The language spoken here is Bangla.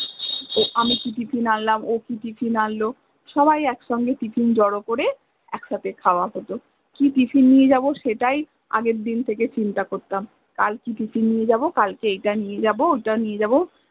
ও আমি কি tiffin আনলাম ও কি tiffin আনল সবাই একসাথে tiffin জড়ো করে একসাথে খাওয়া হত কি tiffin নিয়ে যাব সেটাই আগের দিন থেকে চিন্তা করতাম কাল কি tiffin নিয়ে যাব কালকে এটা নিয়ে যাব ওটা নিয়ে যাব